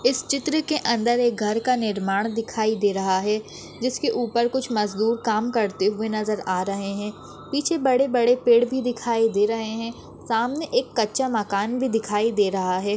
इस चित्र के अंदर एक घर का निर्माण दिखाई दे रहा है जिसके ऊपर कुछ मजदूर काम करते हुए नजर आ रहे है पीछे बड़े बड़े पेड़ भी दिखाई दे रहे है सामने एक कच्चा मकान भी दिखाई दे रहा है।